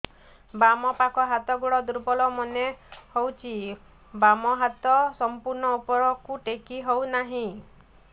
ବାମ ପାଖ ହାତ ଗୋଡ ଦୁର୍ବଳ ମନେ ହଉଛି ବାମ ହାତ ସମ୍ପୂର୍ଣ ଉପରକୁ ଟେକି ହଉ ନାହିଁ